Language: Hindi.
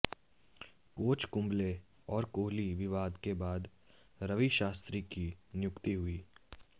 कोच कुंबले और कोहली विवाद के बाद रवि शास्त्री की नियुक्ति हुई